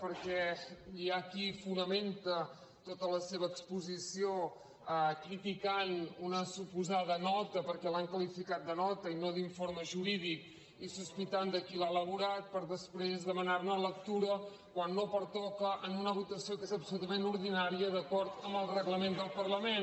perquè hi ha qui fonamenta tota la seva exposició criticant una suposada nota perquè l’han qualificat de nota i no d’informe jurídic i sospitant de qui l’ha elaborat per després demanarne lectura quan no pertoca en una votació que és absolutament ordinària d’acord amb el reglament del parlament